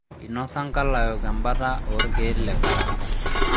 Einosa nkalaok embata oo ilkeel le karanga